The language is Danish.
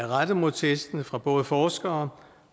rettet mod testene fra både forskere